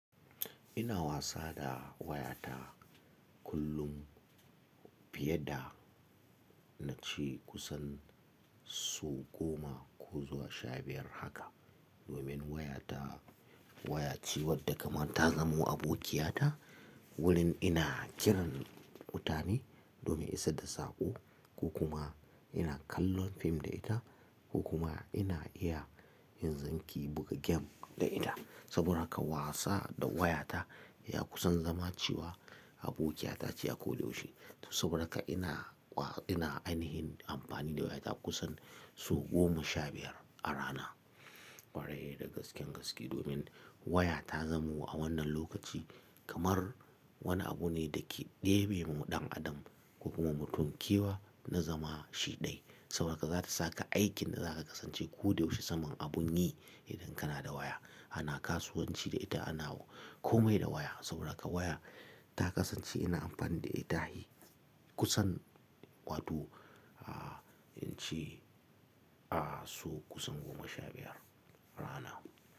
Ina wasa da wayata kullum fiye da na ce kusan so goma ko zuwa sha biyar haka. Domin wayata, waya ce wadda kamar ta zamo abokiyata wurin ina kiran mutane domin isar da saƙo ko kuma ina kallon fim da ita ko kuma ina iya yin aiki buga game da ita. Saboda haka wasa da wayata ya kusan zama cewa abokiyata ce a ko da yaushe. To saboda haka ina, ina ainihin amfani da wayata kusan so goma sha biyar a rana. Kwarai da gaske gaske domin waya ta zamo a wannan lokaci kamar wani abu ne da ke ɗebemu ɗan adam ko kuma mutum kewa na zama shi ɗaya. Saboda haka za ta saka aikin da za ka kasance koyaushe saman abun yi idan kana da waya. Ana kasuwanci da ita, ana komai da waya. Saboda haka waya ta kasance ina amfani da ita kusan wato in ce a so kusan goma sha biyar rana.